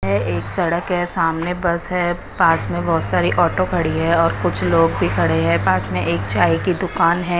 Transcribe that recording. ये एक सड़क है सामने बस है पास में बहुत सारी ऑटो खड़ी है और कुछ लोग भी खड़े हैं पास में एक चाय की दुकान है।